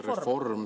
… reform.